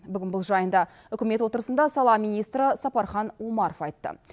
бүгін бұл жайында үкімет отырысында сала министрі сапархан омаров айтты